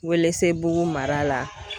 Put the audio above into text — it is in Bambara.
Welesebugu mara la